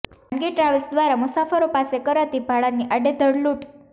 ખાનગી ટ્રાવેલ્સ દ્વારા મુસાફરો પાસે કરાતી ભાડાની આડેધડ લૂંટ